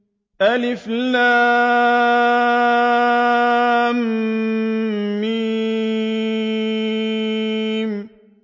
الم